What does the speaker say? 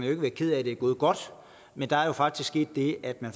ikke være ked af at det er gået godt men der er jo faktisk sket det at man